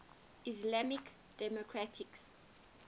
islamic democracies